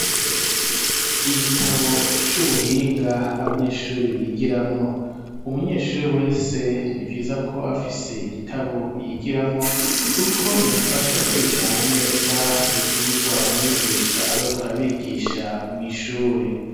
Igitabo c'ubuhinga abanyeshuri bigiramwo umunyeshuri wese nivyiza ko aba afise igitabo yigiramwo kuko bimufasha gukurikirana neza ivyirwa umwigisha abariko ara bigisha mw'ishuri.